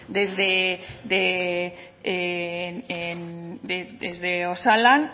desde osalan